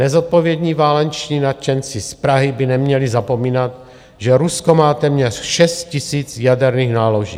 Nezodpovědní váleční nadšenci z Prahy by neměli zapomínat, že Rusko má téměř 6 000 jaderných náloží.